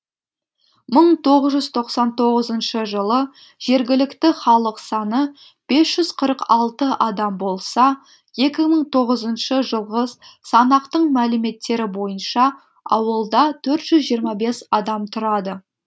мың тоғыз жүз тоқсан тоғызыншы жылы жергілікті халық саны бес жүз қырық алты адам болса екі мың тоғызыншы жылғы санақтың мәліметтері бойынша ауылда төрт жүз жиырма бес адам тұрады